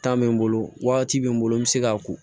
bɛ n bolo wagati bɛ n bolo n bɛ se k'a ko